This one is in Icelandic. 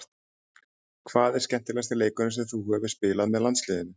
Hvað er skemmtilegasti leikurinn sem þú hefur spilað með landsliðinu?